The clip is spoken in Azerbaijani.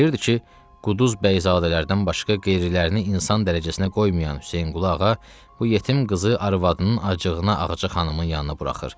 O bilirdi ki, quduz bəyzadələrdən başqa qeyrilərini insan dərəcəsinə qoymayan Hüseynqulu ağa bu yetim qızı arvadının acığına Ağca xanımın yanına buraxır.